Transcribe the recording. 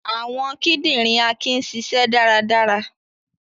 Awọn kidinrin Akin nṣiṣẹ daradara.